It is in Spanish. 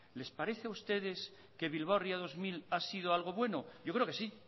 les parece a ustedes que bilbao ría dos mil ha sido algo bueno yo creo que sí